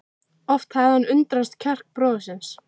Oft hafði hann undrast kjark bróður síns.